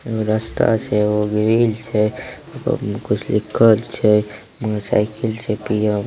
एगो रास्ता छे एगो ग्रील छे कुछ लिखल छेमोटर साइकिल छे पियर --